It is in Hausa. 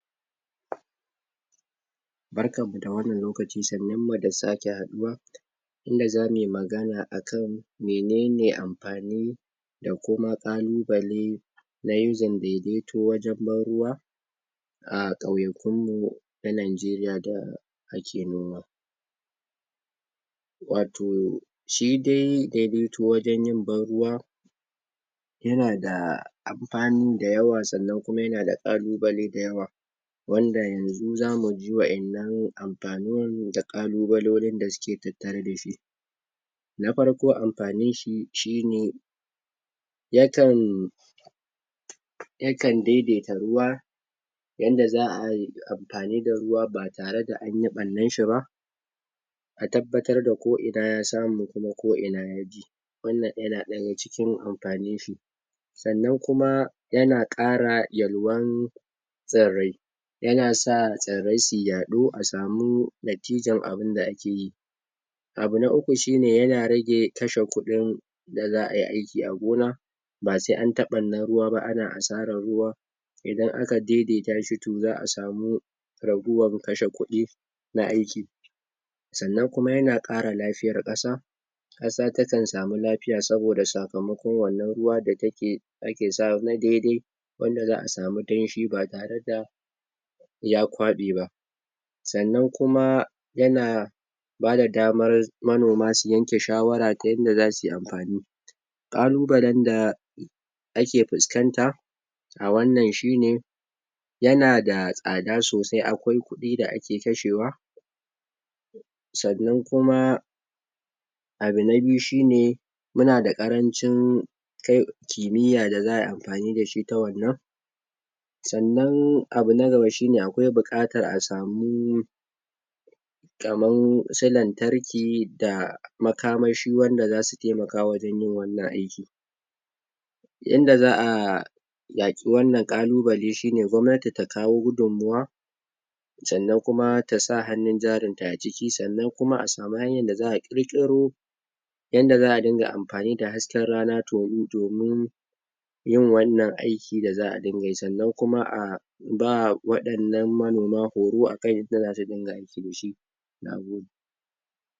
barkanmu dawannan lokaci ,sannunmu da sake haɗuwa inda zamuyi magana akan menene amfanin da kuma ƙalubale na yin daidaito wajen ban ruwa a ƙauyakunmu na Nigeria da ake noma wato shidai daidaito wajen yin ban ruwa yana da amfani da yawa sannan kuma yanada ƙalubale da yawa wanda yanzu zamuji waƴannan amfanin da ƙalubalolin da suke tattare dashi na farko amfaninshi shine yakan yakan daidaita ruwa yanda za ayi amfani da ruwa ba tare da anyi ɓarnarshi ba ka tabbatar da ko ina ya samu kuma ko ina ya ji wannan yana daga cikin amfanin shi sannan kuma yana ƙara walwan tsirrai yana sa tsirrai su yaɗu a samu natijan abun da ake yi abu na uku shine yana rage kashe kuɗin da za ayi aiki a gona ba se an ta ɓarnar ruwa ba ana asarar ruwa idan aka daidaita shi to zaʼa samu raguwar kashe kuɗi na aiki sannan kuma yana kara lafiyar ƙasa ƙasa takan samu lafiya saboda sakamakon wannan ruwa da take, ake sawa na daidai wanda zaʼa samu danshi ba tare da ya kwaɓe ba sannan kuma yana bada damar manoma su yanke shawara ta yanda zasuyi amfani ƙalubalenda ake fuskanta a wannan shine yana da tsada sosai, akwai kuɗi da ake kashewa sannan kuma abu na biyu shine muna da ƙarancin kai kimiya da za ayi amfani dashi ta wannan sannan abu na gaba shine akwai buƙatar a samu kaman su lantarki da makamashi wanda zasu taimaka wajen yin wannan aiki yanda zaʼa yaƙi wannan ƙalubale shine gwamnati ta kawo gudun mawa sannan kuma tasa hannun jarinta a ciki, sannan kuma a samu hanyar da zaʼa ƙirƙiro yanda zaʼa ringa amfani da hasken rana domin yin wannan aiki da zaʼa ringa yi sannan kuma ba waɗannan manoma horo akan yanda zasu ringa aiki dashi nagode